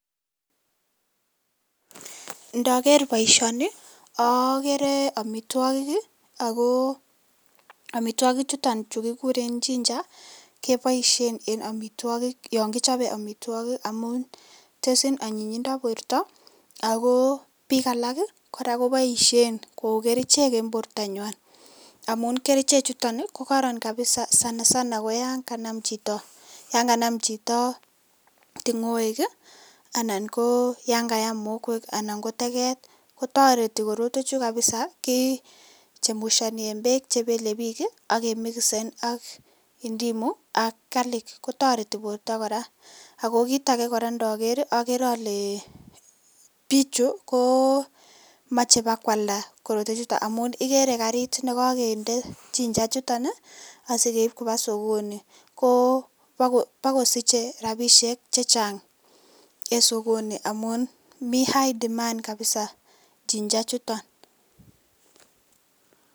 Ndojer boisioni okere omitwogik ii ako omitwokichuton chu kokuren chinja ii keboisien en omitwogik yon kichobe omitwogik amun teshin onyinyindo borto, ako bik alak koraa koboishen kou kerichek en bortanywan amun kerichechuton ii kokoron kabisa sana sana koyon kanam chit, yon kanam chito tingoek ii anan koyon kayaam mokwek anan koteket, kotoreti korotwechu kabisa kichemushoni en beek chebele bik ii ak kemikisen ak indimo ak karlik kotoreti borto koraa, ako kit akee ndoker ii okere ole bichu komoche bakwalda korotwechuton amun ikere karit nekokinde chinjachuton ii asikeib kobaa sokoni kobokosiche rabishek chechang en sokoni amun mi high demand kabisa chinjachuton.